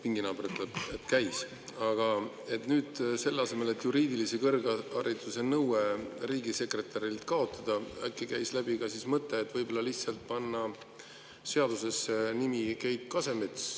Aga nüüd, äkki käis läbi ka mõte, et selle asemel, et juriidilise kõrghariduse nõue riigisekretärile kaotada, lihtsalt panna seadusesse nimi Keit Kasemets?